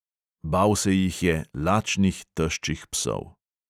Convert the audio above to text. Bal se jih je, lačnih, teščih psov.